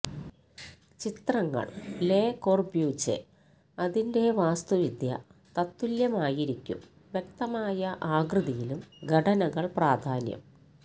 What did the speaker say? ചിത്രങ്ങൾ Le Corbusier അതിന്റെ വാസ്തുവിദ്യ തത്തുല്ല്യമായിരിക്കും വ്യക്തമായ ആകൃതിയിലും ഘടനകൾ പ്രാധാന്യം